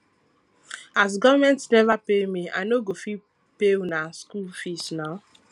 as government neva pay me i no go fit pay una skool fees now